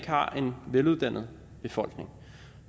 har en veluddannet befolkning